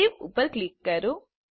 save ઉપર click કરો